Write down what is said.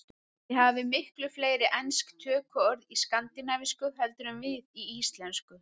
Þið hafið miklu fleiri ensk tökuorð í skandinavísku heldur en við í íslensku.